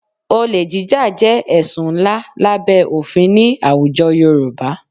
Olè jíjà jẹ́ ẹ̀sùn ńlá lábẹ́ òfin ní àwùjọ Yorùbá